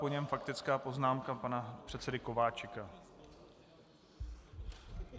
Po něm faktická poznámka pana předsedy Kováčika.